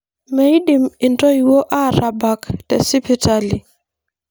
Meidim intoiuo aatabak tesipitali.